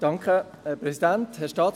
Kommissionspräsident der SAK.